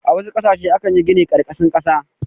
A wasu ƙasashe akan yi gini a ƙarƙashin ƙasa.